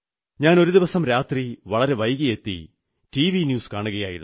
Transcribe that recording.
ഞാൻ ഒരു ദിവസം രാത്രി വളരെ വൈകിയെത്തി ടിവി ന്യൂസ് കാണുകയായിരുന്നു